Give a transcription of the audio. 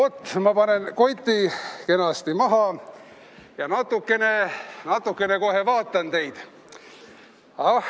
Oot, ma panen koti kenasti maha ja natukene kohe vaatan teid.